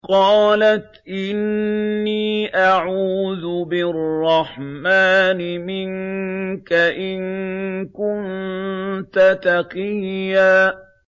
قَالَتْ إِنِّي أَعُوذُ بِالرَّحْمَٰنِ مِنكَ إِن كُنتَ تَقِيًّا